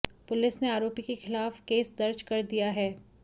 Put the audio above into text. police ने आरोपी के खिलाफ केस दर्ज कर दिया है